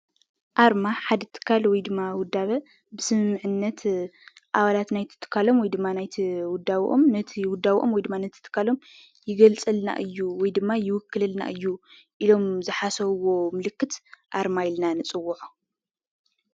ኣርማ ሓደ ትካል ወይድማ ውዳበ ብስምምዕነት ኣባላት ናይቲ ትካሎም ወይድማ ናይቲ ውዳብኦም ይገልፀልና እዩ ይውክለልና እዩ ኢሎም ዝሓሰብዎ ምልክት ኣርማ ኢልና ንፅውዖ።